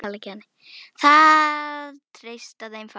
Það treysta þeim fáir.